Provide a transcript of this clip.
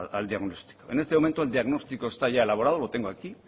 al diagnóstico en este momento el diagnóstico está ya elaborado lo tengo aquí